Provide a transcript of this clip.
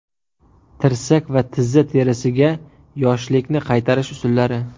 Tirsak va tizza terisiga yoshlikni qaytarish usullari.